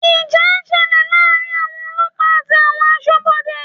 Ìjà ṣẹlẹ̀ láàrin àwọn ọlọ́pàá àti àwọn Aṣọ́bodè